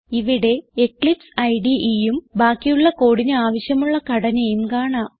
ഇവിടെ എക്ലിപ്സ് IDEഉം ബാക്കിയുള്ള കോഡിന് ആവിശ്യമുള്ള ഘടനയും കാണാം